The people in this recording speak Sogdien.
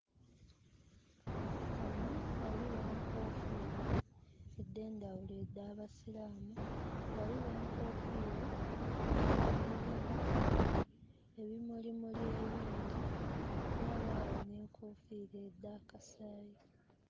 Wano waliwo enkoofira endhendhawulo edh'absiraamu, waliwo enkofiira edhirumu ebimulimuli ebingi, wabaawo n'enkofiira edha kasaayi.